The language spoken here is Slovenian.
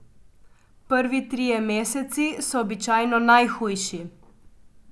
Prvi trije meseci so običajno najhujši.